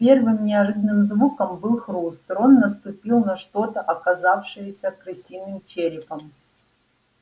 первым неожиданным звуком был хруст рон наступил на что-то оказавшееся крысиным черепом